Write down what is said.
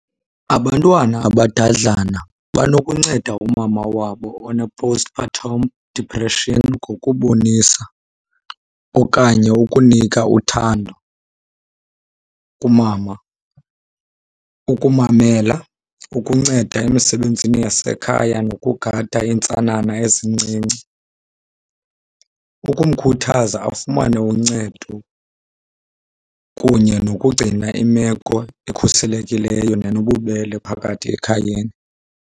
Abantwana abadadlana banokunceda umama wabo one-postpartum depression ngokubonisa okanye ukunika uthando kumama, ukumamela, ukunceda emisebenzini yasekhaya nokugada iintsana ezincinci, ukumkhuthaza afumane uncedo kunye nokugcina imeko ekhuselekileyo nenobubele phakathi ekhayeni.